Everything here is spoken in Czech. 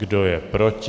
Kdo je proti?